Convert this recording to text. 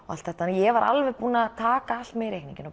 allt þetta ég var alveg búin að taka með í reikninginn